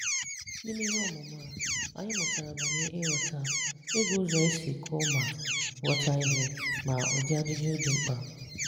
N’ime ihe ọmụmụ a, anyị mụtara banyere ịghọta, ịgụ ụzọ esi gụọ ma ghọta ihe, na ụdị ajụjụ dị mkpa.